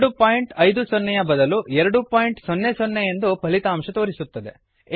ಎರಡು ಪಾಯಿಂಟ್ ಐದು ಸೊನ್ನೆ ಯ ಬದಲು ಎರಡು ಪಾಯಿಂಟ್ ಸೊನ್ನೆ ಸೊನ್ನೆ ಎಂದು ಫಲಿತಾಂಶ ತೋರಿಸುತ್ತದೆ